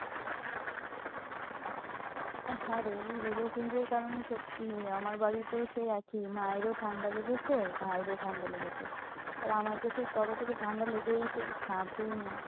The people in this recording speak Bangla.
হ্যাঁ রে weather change এর কারণে সত্যি আমার বাড়িতেও সেই একই। মায়েরও ঠান্ডা লেগেছে ভাইয়েরও ঠান্ডা লেগেছে। আর আমার তো সেই কবে থেকে ঠান্ডা লেগেইছে ছাড়ছেই না।